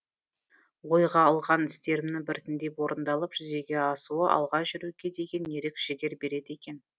ойға алған істерімнің біртіндеп орындалып жүзеге асуы алға жүруге деген ерік жігер береді екен